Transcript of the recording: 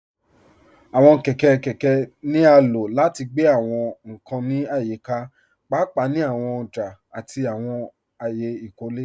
Àwọn kẹkẹ kẹkẹ ni a ló láti gbẹ̀ àwọn nkàn ní ayíkà, páápàá ni àwọn òjà àti àwọn ayé ìkólẹ.